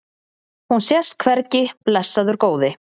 Hún sést hvergi, blessaður góði.